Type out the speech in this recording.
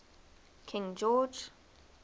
king george